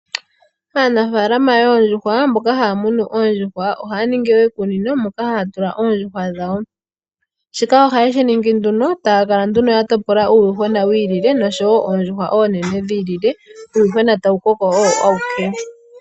Aanafaalama yoondjuhwa mboka ha ya munu oondjuhwa ohaa ningi iikunino moka ha ya tula oondjugwa dhawo. Shika oha ye shiningi nduno taa kala nduno ya topola uuyuhwena wi ilile noshowo oondjuhwa oonene dhi ilile. Uuyuwhena tawu koko owo awike.